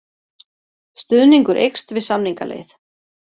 Stuðningur eykst við samningaleið